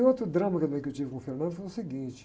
E outro drama também que eu tive com o foi o seguinte.